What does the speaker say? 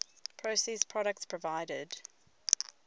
processed products provided